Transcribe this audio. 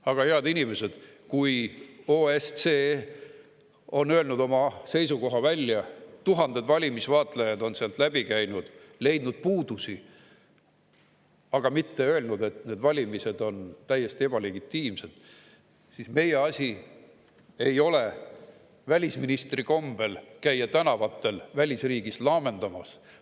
Aga, head inimesed, kui OSCE on öelnud oma seisukoha välja – tuhanded valimisvaatlejad on sealt läbi käinud, leidnud puudusi, aga mitte öelnud, et need valimised on täiesti ebalegitiimsed –, siis meie asi ei ole välisministri kombel käia tänavatel välisriigis laamendamas.